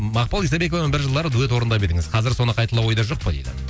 мақпал исабековамен бір жылдары дуэт орындап едіңіз қазір соны қайталау ойда жоқ па дейді